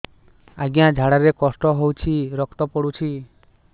ଅଜ୍ଞା ଝାଡା ରେ କଷ୍ଟ ହଉଚି ରକ୍ତ ପଡୁଛି